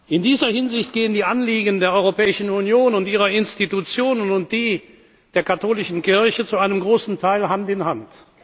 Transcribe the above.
In dieser Hinsicht gehen die Anliegen der Europäischen Union und ihrer Institutionen und die der Katholischen Kirche zu einem großen Teil Hand